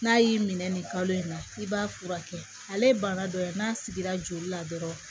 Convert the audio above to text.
N'a y'i minɛ nin kalo in na i b'a furakɛ ale ye bana dɔ ye n'a sigira joli la dɔrɔn